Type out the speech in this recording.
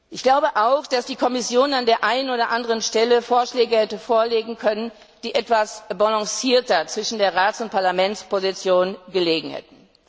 Ich glaube auch, dass die Kommission an der einen oder anderen Stelle Vorschläge hätte vorlegen können, die etwas ausgewogener zwischen der Rats und der Parlamentsposition gelegen hätten.